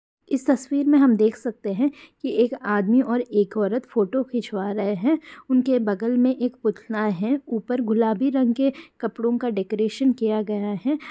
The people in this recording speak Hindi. इस तस्वीर में हम देख सकते है की एक आदमी और एक औरत फोटो खिचवा रहे है उनके बगल में एक पुतला है ऊपर गुलाबी रंग के कपड़ो का डेकोरेशन किया गया है।